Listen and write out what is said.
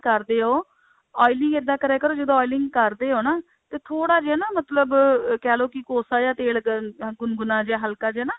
ਕਰਦੇ ਓ oiling ਇੱਦਾ ਕਰਿਆ ਕਰੋ ਜਦੋਂ oiling ਕਰਦੇ ਹੋ ਨਾ ਤੇ ਥੋੜਾ ਜਿਹਾ ਨਾ ਮਤਲਬ ਕਹਿਲੋ ਕਿ ਕੋਸਾ ਜਿਹਾ ਤੇਲ ਅਹ ਗੁਨਗੁਨਾ ਜਿਹਾ ਹਲਕਾ ਜਿਹਾ ਨਾ